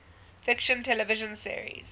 fiction television series